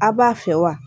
A b'a fɛ wa